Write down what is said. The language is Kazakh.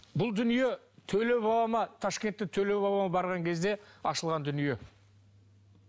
бұл дүние төле бабама ташкентте төле бабама барған кезде ашылған дүние